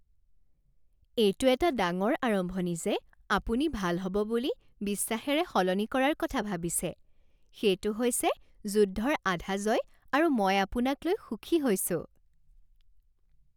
এইটো এটা ডাঙৰ আৰম্ভণি যে আপুনি ভাল হ'ব বুলি বিশ্বাসেৰে সলনি কৰাৰ কথা ভাবিছে। সেইটো হৈছে যুদ্ধৰ আধা জয় আৰু মই আপোনাক লৈ সুখী হৈছোঁ।